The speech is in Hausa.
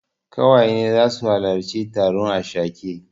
Ƙawaye na zasu halarci taron ashake.